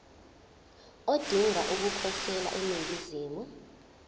odinga ukukhosela eningizimu